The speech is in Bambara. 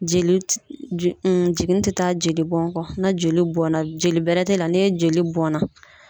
Joli jiginni te taa joli bɔn kɔ, na joli bɔnna joli bɛrɛ te la ni joli bɔnna